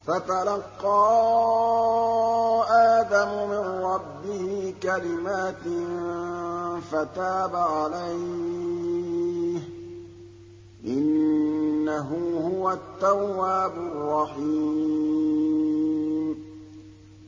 فَتَلَقَّىٰ آدَمُ مِن رَّبِّهِ كَلِمَاتٍ فَتَابَ عَلَيْهِ ۚ إِنَّهُ هُوَ التَّوَّابُ الرَّحِيمُ